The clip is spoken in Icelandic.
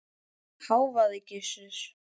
hváði Gizur.